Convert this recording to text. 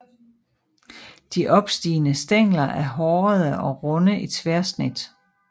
De opstigende stængler er hårede og runde i tværsnit